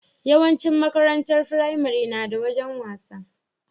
Yawan cin makarantar firamare nada wajan wasa